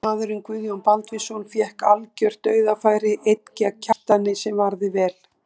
Varamaðurinn Guðjón Baldvinsson fékk algjört dauðafæri einn gegn Kjartani sem varði vel.